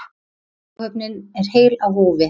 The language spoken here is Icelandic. Áhöfnin er heil á húfi